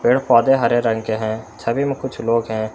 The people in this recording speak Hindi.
यह पौधे हरे रंग के हैं छवि मे कुछ लोग हैं।